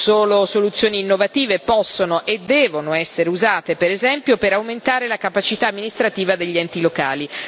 Solo soluzioni innovative possono e devono essere usate, per esempio, per aumentare la capacità amministrativa degli enti locali.